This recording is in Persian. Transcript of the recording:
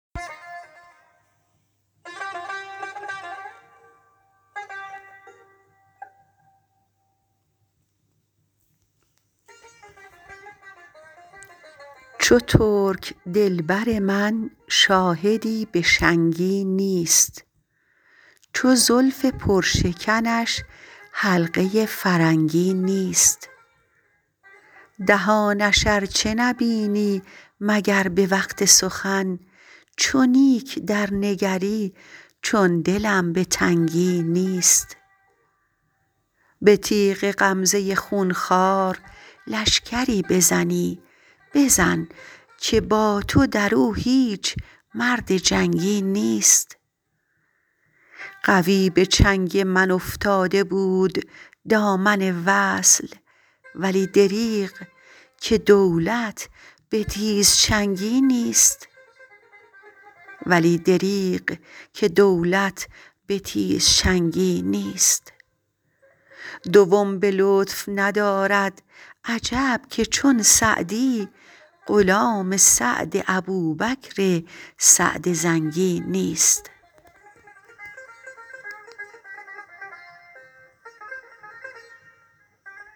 چو ترک دل بر من شاهدی به شنگی نیست چو زلف پرشکنش حلقه فرنگی نیست دهانش ار چه نبینی مگر به وقت سخن چو نیک درنگری چون دلم به تنگی نیست به تیغ غمزه خون خوار لشکری بزنی بزن که با تو در او هیچ مرد جنگی نیست قوی به چنگ من افتاده بود دامن وصل ولی دریغ که دولت به تیزچنگی نیست دوم به لطف ندارد عجب که چون سعدی غلام سعد ابوبکر سعد زنگی نیست